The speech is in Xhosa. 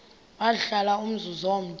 wahlala umzum omde